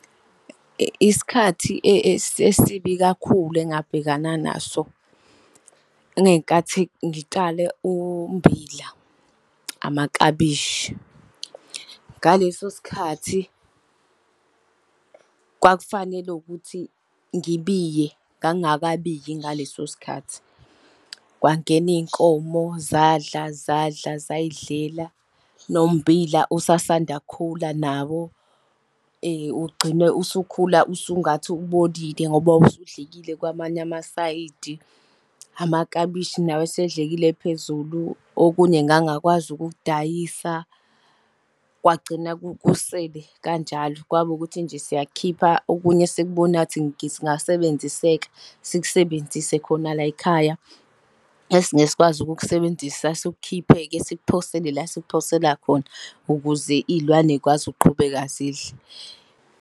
Isikhathi esibi kakhulu engabhekana naso, ingenkathi ngitshale ummbila, amaklabishi. Ngaleso sikhathi, kwakufanele ukuthi ngibiye ngangingakabiyi ngaleso sikhathi, kwangena iy'nkomo zadla, zadla, zay'dlela, nommbila usasanda kukhula nawo ugcine usukhula usungathi ubolile ngoba wawusudlekile kwamanye amasayidi. Amaklabishi nawo esedlekile phezulu, okunye ngangakwazi ukukudayisa, kwagcina kusele kanjalo, kwaba ukuthi nje siyakukhipha okunye esikubonayo ukuthi kungasebenziseka, sikusebenzise khona lay'khaya. Esingeke sikwazi ukukusebenzisa sikukhiphe-ke sikuphose la esikuphosela khona, ukuze iy'lwane zikwazi ukuqhubeka zidle.